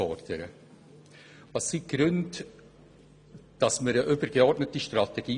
Weshalb brauchen wir eine übergeordnete Strategie?